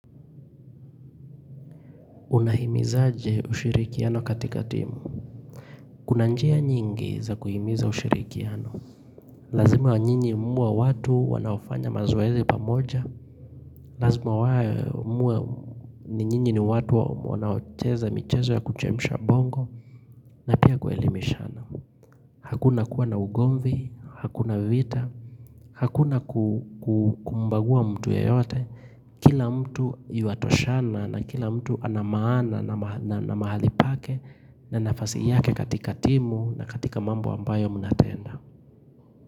Unahimizaje ushirikiano katika timu. Kuna njia nyingi za kuhimiza ushirikiano. Lazima nyinyi muwe watu wanaofanya mazoezi pamoja. Lazima muwe ni nyinyi ni watu wanaocheza mchezo ya kuchemsha bongo na pia kuelimishana. Hakuna kuwa na ugomvi, hakuna vita, hakuna kumbagua mtu yeyote. Kila mtu yuatoshana na kila mtu anamaana na mahali pake na nafasi yake katika timu na katika mambo ambayo mnatenda.